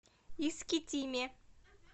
искитиме